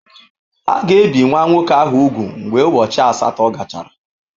A ga-ebi nwa nwoke ahụ úgwù mgbe ụbọchị asatọ gachara.